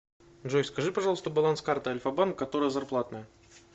джой скажи пожалуйста баланс карты альфа банк которая зарплатная